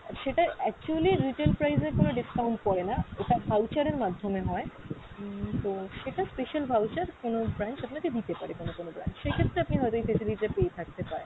আর সেটা actually retail price এ কোনো discount পরে না, ওটা voucher এর মাধ্যমে হয়। উম তো সেটা special voucher কোনো branch আপনাকে দিতে পারে কোনো কোনো branch, সেই ক্ষেত্রে আপনি হয়তো এই facility টা পেয়ে থাকতে পারেন।